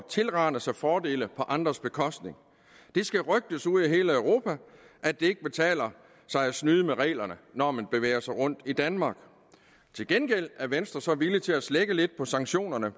tilrane sig fordele på andres bekostning det skal rygtes ude i hele europa at det ikke betaler sig at snyde med reglerne når man bevæger sig rundt i danmark til gengæld er venstre så villig til at slække lidt på sanktionerne